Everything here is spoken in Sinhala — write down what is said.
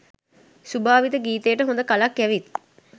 සුභාවිත ගීතයට හොඳ කලක් ඇවිත්